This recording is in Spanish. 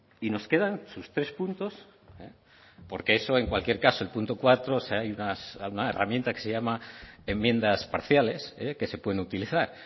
y nos quedan sus tres puntos porque eso en cualquier caso el punto cuatro hay una herramienta que se llama enmiendas parciales que se pueden utilizar